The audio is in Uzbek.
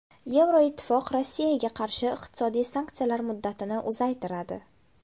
Yevroittifoq Rossiyaga qarshi iqtisodiy sanksiyalar muddatini uzaytiradi.